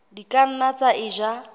di ka nna tsa eja